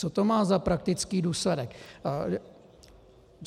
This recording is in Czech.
Co to má za praktický důsledek?